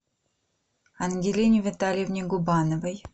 ангелине витальевне губановой